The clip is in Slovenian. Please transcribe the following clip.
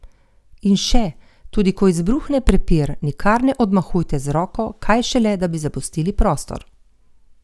In še, tudi ko izbruhne prepir, nikar ne odmahujte z roko, kaj šele da bi zapustili prostor!